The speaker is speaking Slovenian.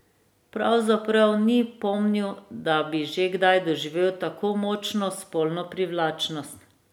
Pravzaprav ni pomnil, da bi že kdaj doživel tako močno spolno privlačnost.